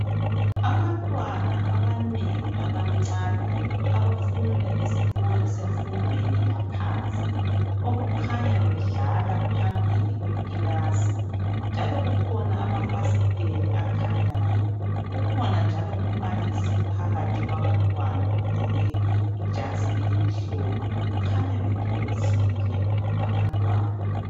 Abantwana abanengi abancane abafunda esikolo semfundweni yaphansi okukhanya bedlala phambili kwekilasi njalo kukhona amafasiteli akhanyayo kukhona njalo umbalisi phakathi kwabantwana ogqoke ijazi elimhlophe kukhanya bethokozile abantwana.